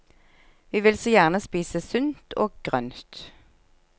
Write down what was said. Vi vil så gjerne spise sunt og grønt.